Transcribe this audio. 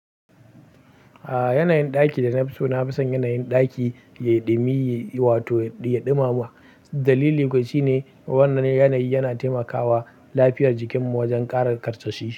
Ah, yanayin ɗaki da na fi so na fi son yanayin ɗaki ya yi ɗumi, ya yi wato ya ɗimama. Dalili kuwa shine wannan yanayi yana taimakawa lafiyar jikinmu wajen ƙara karsashi.